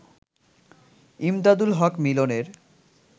ইমদাদুল হক মিলনের